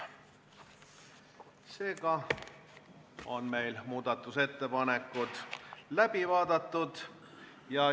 Seega on muudatusettepanekud läbi vaadatud.